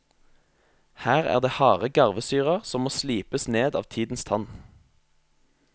Her er det harde garvesyrer som må slipes ned av tidens tann.